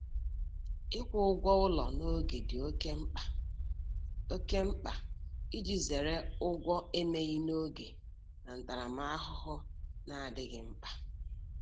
Ịkwụ ụgwọ ụlọ n'oge dị oké mkpa oké mkpa iji zere ụgwọ emeghị n'oge na ntaramahụhụ na-adịghị mkpa.